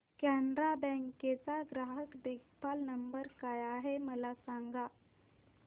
Canara Bank चा ग्राहक देखभाल नंबर काय आहे मला सांगा